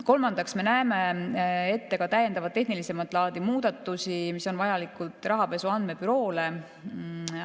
Kolmandaks, me näeme ette täiendavaid tehnilisemat laadi muudatusi, mis on vajalikud Rahapesu Andmebüroole.